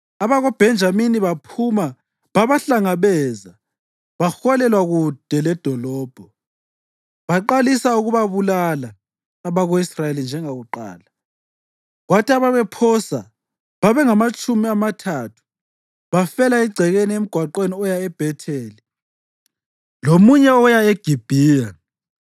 AbakoBhenjamini baphuma babahlangabeza baholelwa kude ledolobho. Baqalisa ukubabulala abako-Israyeli njengakuqala, kwathi ababephosa babengamatshumi amathathu bafela egcekeni emgwaqweni oya eBhetheli lomunye oya eGibhiya.